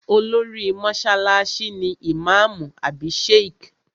Olórí mọ́sálásí ni ìmáàmù àbí Sheikh